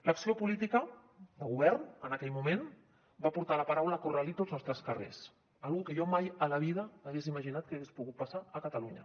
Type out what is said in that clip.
l’acció política del govern en aquell moment va portar la paraula corralito als nostres carrers una cosa que jo mai a la vida hagués imaginat que hagués pogut passar a catalunya